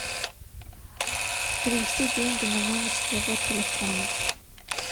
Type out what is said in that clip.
перевести деньги на номер своего телефона